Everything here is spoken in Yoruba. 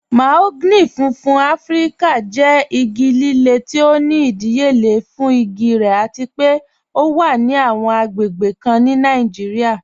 Mahogany fúnfún Afíríkà jẹ́ igi lílẹ̀ tí ó ní ìdíyélé fún igi rẹ̀ àti pé ọ wà ní awọn agbègbè kàn ní Nàìjíríà.